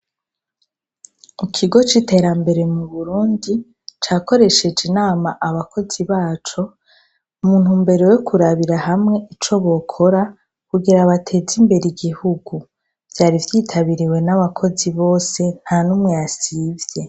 Ikigo c' iterambere mu Burundi, cakoresheje inama abakozi baco, mu ntumbero yo kurabira hamwe ico bokora kugira bateze imbere igihugu. Vyari vyitabiriwe n'abakozi bose nta n'umwe yasivye.